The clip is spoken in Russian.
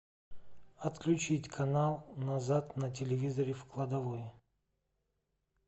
отключить канал назад на телевизоре в кладовой